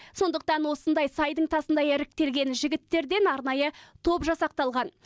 сондықтан осындай сайдың тасындай іріктелген жігіттерден арнайы топ жасақталған